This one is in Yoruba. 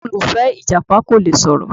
Olùfẹ, Ìjàpá kò le sọ̀rọ̀ o.